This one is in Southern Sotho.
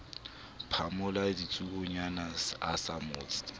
phamola ditsuonyana a sa mmotse